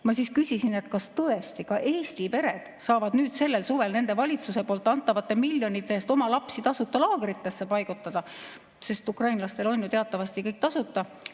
Ma siis küsisin, et kas tõesti ka Eesti pered saavad sellel suvel nende valitsuse antavate miljonite eest oma lapsi tasuta laagritesse paigutada, sest ukrainlastele on ju teatavasti kõik tasuta.